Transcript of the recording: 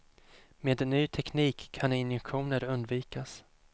Med ny teknik kan injektioner undvikas.